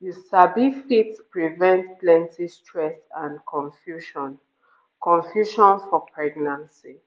you sabi fit prevent plenty stress and confusion confusion for pregnancy